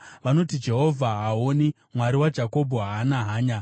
Vanoti, “Jehovha haaoni; Mwari waJakobho haana hanya.”